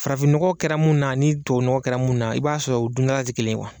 Farafin nɔgɔ kɛra min na a ni tubabu nɔgɔ kɛra min na, i b'a sɔrɔ u dundala kelen kuwa!